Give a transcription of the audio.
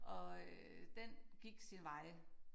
Og øh den gik sin vej